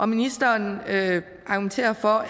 ministeren argumenterer for